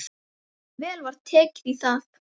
Vel var tekið í það.